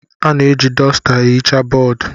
A na-eji dọsta ehicha bọọdụ.